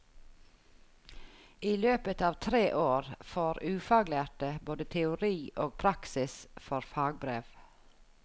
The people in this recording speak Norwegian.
I løpet av tre år får ufaglærte både teori og praksis for fagbrev.